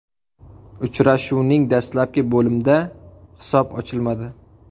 Uchrashuvning dastlabki bo‘limda hisob ochilmadi.